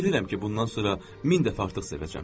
Bilirəm ki, bundan sonra min dəfə artıq sevəcəm.